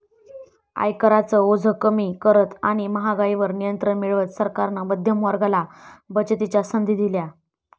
आयकराचं ओझं कमी करत आणि महागाईवर नियंत्रण मिळवत सरकारनं मध्यम वर्गाला बचतीच्या संधी दिल्या